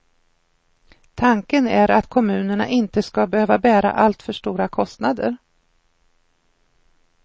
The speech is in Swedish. Tanken är att kommunerna inte ska behöva bära alltför stora kostnader.